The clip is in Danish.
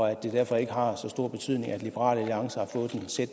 liberal alliance og jeg selv